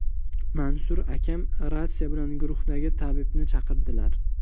Mansur akam, ratsiya bilan guruhdagi tabibni chaqirdilar.